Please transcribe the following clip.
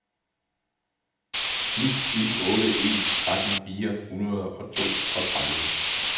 ni syv otte en tretten fire hundrede og toogtredive